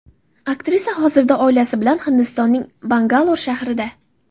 aktrisa hozirda oilasi bilan Hindistonning Bangalor shahrida.